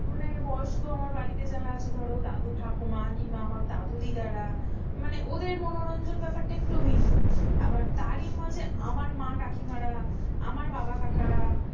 মানে বয়স্ক আমার বাড়িতে যারা আছে, ধরো দাদু ঠাকুমা কিংবা আমার দাদু দিদারা মানে ওদের মনোরঞ্জন ব্যাপারটা একটু ভিন্ন আবার তারই মাঝে আমার মা কাকিমারা। আমার বাবা কাকারা,